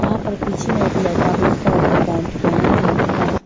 वहां पर पीछे में एक लड़का ब्लैक कलर के पैंट पहनी हुई है।